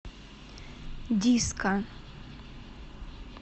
диско